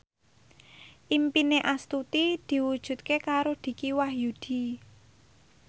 impine Astuti diwujudke karo Dicky Wahyudi